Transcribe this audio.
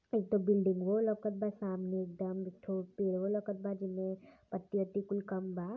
एक ठो बिल्डिंगवो लउकत बा सामने एकदम। एक ठो पेड़वो लउकत बा जेमे पत्ती अत्ती कुल कम बा।